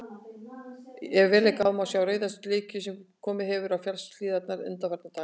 Ef vel er gáð, má sjá rauða slikju sem komið hefur á fjallshlíðarnar undanfarna daga.